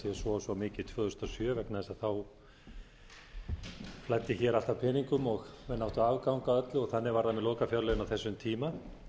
og svo mikið tvö þúsund og sjö vegna þess að þá flæddi allt af peningum menn áttu afgang af öllu og þannig var það með lokafjárlögin á þessum tíma